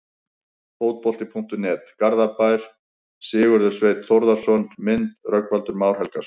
Fótbolti.net, Garðabæ- Sigurður Sveinn Þórðarson Mynd: Rögnvaldur Már Helgason